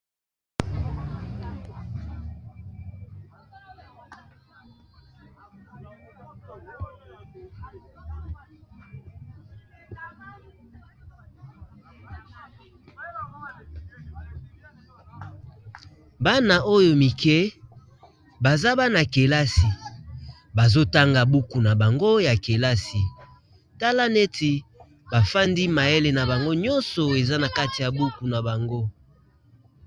Bana oyo mike baza bana -kelasi bazotanga buku na bango ya kelasi tala neti bafandi mayele na bango nyonso eza na kati ya buku na bango.